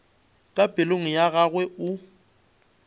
ka pelong ya gagwe o